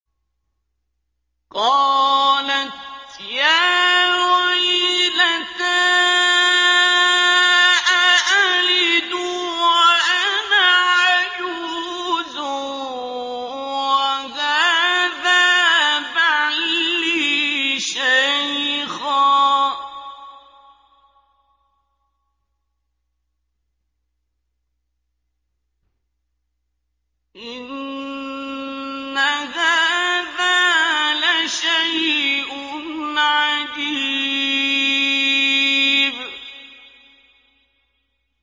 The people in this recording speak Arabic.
قَالَتْ يَا وَيْلَتَىٰ أَأَلِدُ وَأَنَا عَجُوزٌ وَهَٰذَا بَعْلِي شَيْخًا ۖ إِنَّ هَٰذَا لَشَيْءٌ عَجِيبٌ